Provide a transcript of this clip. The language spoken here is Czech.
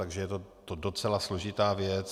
Takže je to docela složitá věc.